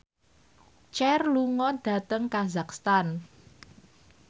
Cher lunga dhateng kazakhstan